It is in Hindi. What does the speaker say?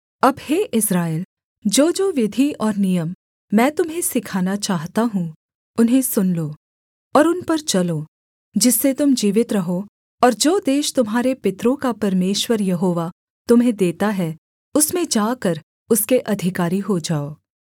अब हे इस्राएल जोजो विधि और नियम मैं तुम्हें सिखाना चाहता हूँ उन्हें सुन लो और उन पर चलो जिससे तुम जीवित रहो और जो देश तुम्हारे पितरों का परमेश्वर यहोवा तुम्हें देता है उसमें जाकर उसके अधिकारी हो जाओ